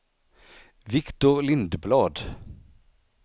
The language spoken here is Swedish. Viktor Lindblad